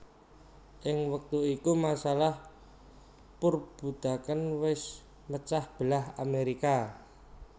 Ing wektu iku masalah perbudakan wés mecah belah Amerika